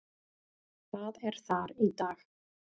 Það er þar í dag.